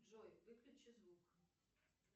джой выключи звук